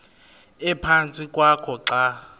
ephantsi kwakho xa